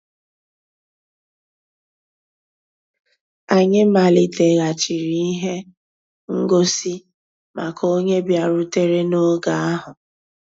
Ànyị́ màlìtéghàchíré íhé ngósì màkà ónyé bìàrùtérè n'ògé ahụ́.